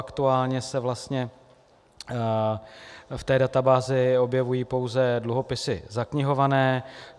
Aktuálně se vlastně v té databázi objevují pouze dluhopisy zaknihované.